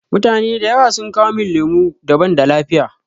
Mutane da yawa sun kawo min lemu da banda lafiya.